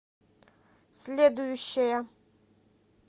следующая